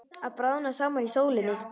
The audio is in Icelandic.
Að bráðna saman í sólinni